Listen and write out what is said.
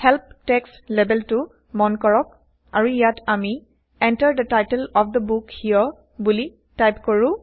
help text লেবেলটো160মন কৰক আৰু ইয়াত160আমি160 Enter the title of the book here বোলি টাইপ কৰো